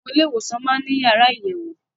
Àwọn ilé ìwòsàn máá ń ní yàrá àyẹ̀wò